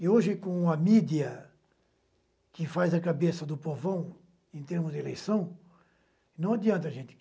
E hoje, com a mídia que faz a cabeça do povão em termos de eleição, não adianta, gente.